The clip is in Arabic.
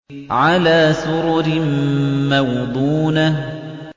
عَلَىٰ سُرُرٍ مَّوْضُونَةٍ